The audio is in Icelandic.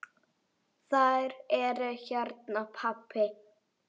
Þær eru hérna, pabbi.